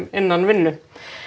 innan vinnu